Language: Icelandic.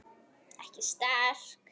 Ekki sterk.